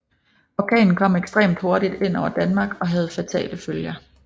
Orkanen kom ekstremt hurtigt ind over Danmark og havde fatale følger